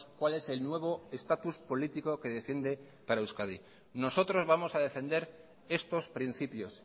cuál es el nuevo estatus político que defiende para euskadi nosotros vamos a defender estos principios